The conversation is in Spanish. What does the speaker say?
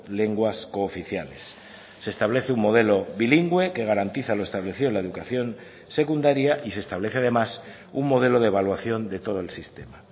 lenguas cooficiales se establece un modelo bilingüe que garantiza lo establecido en la educación secundaria y se establece además un modelo de evaluación de todo el sistema